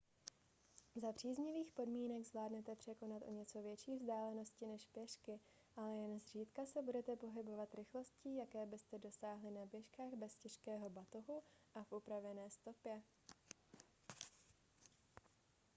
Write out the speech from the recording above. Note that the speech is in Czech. za příznivých podmínek zvládnete překonat o něco větší vzdálenosti než pěšky ale jen zřídka se budete pohybovat rychlostí jaké byste dosáhli na běžkách bez těžkého batohu a v upravené stopě